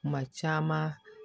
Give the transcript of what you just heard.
Kuma caman